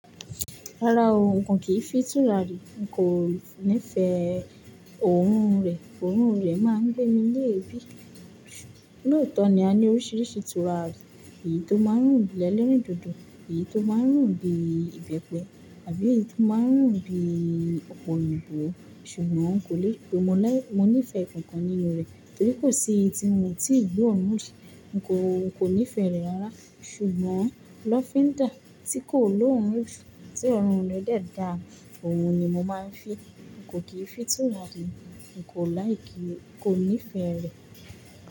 Rárá o, n kò kín fín tùràrí. Kò nífẹ̀ẹ́ òórùn rẹ̀ òórùn rẹ̀ máa ń gbé mi ní èébì. Lóòótọ́ ni a ní oríṣiríṣi tùràrí, èyí tó máa ń rùn bí ẹlẹ́rìndòdò, èyí tó máa ń rùn bíiìbẹ́pẹ àbí èyí tó máa ń rùn bíi ọ̀pọ̀ òyìnbó ṣùgbọ́n n kò lérò pé mo ní ìfẹ́ nǹkan kan nínúu rẹ̀. Torí kò sí èyí ti mi ò tíì gbọ́ òórùn shá. N kò, n kò nífẹ̀ẹ́ rẹ̀ rárá. Ṣùgbọ́n lọ́fín dà, tí kò lóòórùn jù, tí òórùn rẹ̀ dẹ̀ dàa, òun ni mo máa ń fi. N kò kì í fi tùràrí, n kò like, n kò nífẹ̀ẹ́ rẹ̀.